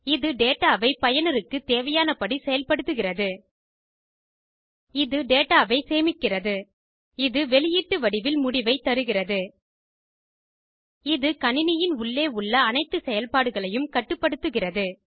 இது டேடாவை பயனருக்கு தேவையானபடி செயல்படுத்துகிறது இது டேடாவை சேமிக்கிறது இது வெளியீட்டு வடிவில் முடிவைத் தருகிறது இது கணினியின் உள்ளே உள்ள அனைத்து செயல்பாடுகளையும் கட்டுப்படுத்துகிறது